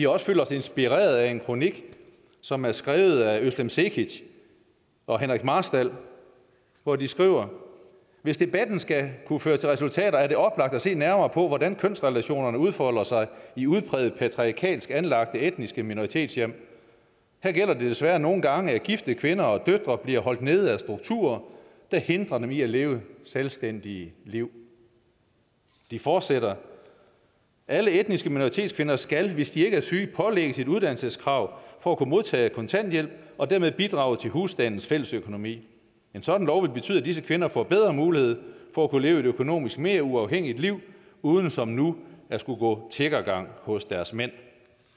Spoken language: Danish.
også følt os inspireret af en kronik som er skrevet af özlem cekic og henrik marstal hvor de skriver hvis debatten skal kunne føre til resultater er det oplagt at se nærmere på hvordan kønsrelationerne udfolder sig i udpræget patriarkalsk anlagte etniske minoritetshjem her gælder det desværre nogle gange at gifte kvinder og døtre bliver holdt nede af strukturer der hindrer dem i at leve selvstændige liv de fortsætter alle etniske minoritetskvinder skal hvis ikke de er syge pålægges et uddannelseskrav for at kunne modtage kontanthjælp og dermed bidrage til husstandens fællesøkonomi en sådan lov vil betyde at disse kvinder får bedre mulighed for at kunne leve et økonomisk mere uafhængigt liv uden som nu at skulle gå tiggergang hos deres mænd